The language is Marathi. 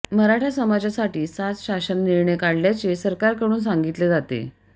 मराठा समाजासाठी सात शासन निर्णय काढल्याचे सरकारकडून सांगितले जाते